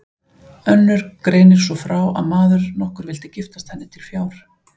Önnur greinir svo frá að maður nokkur vildi giftast henni til fjár.